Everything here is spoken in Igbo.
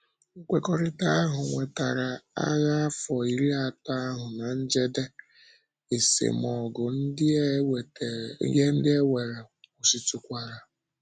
Nkwekọrịtà ahụ wètarà Ághà Afọ́ Írì Átò ahụ ná njedè, esemọ̀gụ ndị e nwere kwụsịtùkwara.